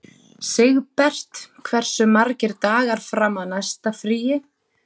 Sigbert, hversu margir dagar fram að næsta fríi?